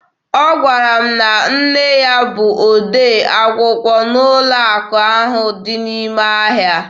Ọ gwara m na nne ya bụ odee akwụkwọ n'ụlọ akụ ahụ dị n'ime ahịa